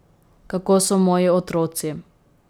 Kako so moji otroci.